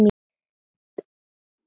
Já, hann slapp.